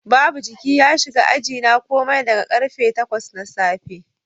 Babu jiki ya shiga ajina komai daga karfe 8 na safe